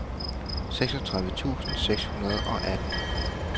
seksogtredive tusind seks hundrede og atten